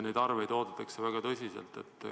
Neid arveid oodatakse väga tõsiselt.